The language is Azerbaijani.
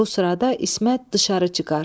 Bu sırada İsmət dışarı çıxar.